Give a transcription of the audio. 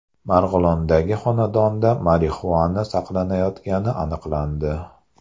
Marg‘ilondagi xonadonda marixuana saqlanayotgani aniqlandi.